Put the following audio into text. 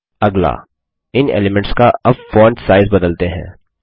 अगला इन एलीमेंट्स का अब फ़ॉन्ट साइज़ बदलते हैं